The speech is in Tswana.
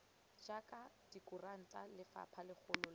jwa dikuranta lephata legolo la